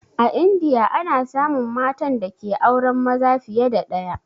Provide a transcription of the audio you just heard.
A indiya ana samun matan dake auren maza fiye da ɗaya